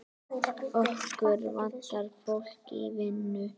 Okkur vantar fólk í vinnu.